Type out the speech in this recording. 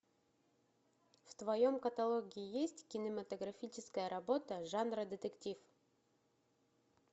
в твоем каталоге есть кинематографическая работа жанра детектив